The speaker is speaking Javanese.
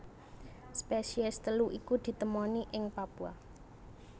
Spesies telu iku ditemoni ing Papua